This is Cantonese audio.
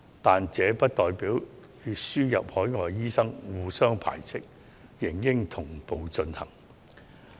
但這並不與輸入海外醫生互相排斥，兩者理應同步進行。